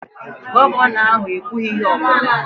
Gọvanọ ahụ ekwughị ihe ọ bụla